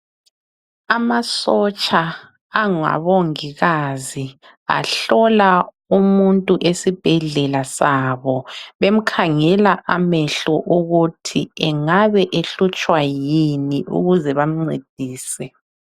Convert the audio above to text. Amasotsha angabongikazi ahlola umuntu esibhedlela zabo bemkhangela amehlo ukuthi engabe ehlutshwa yini ukuze bamncedise.